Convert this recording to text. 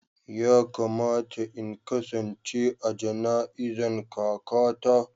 Ya kamata in kasance a jana'izan kaka ta.